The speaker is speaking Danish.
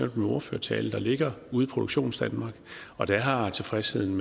i min ordførertale der ligger ude i produktionsdanmark og der har tilfredsheden